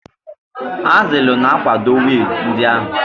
Azilu ga-akwado wiil ndị ahụ.